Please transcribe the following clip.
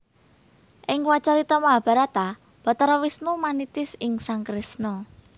Ing wiracarita Mahabharata Bathara Wisnu manitis ing sang Kresna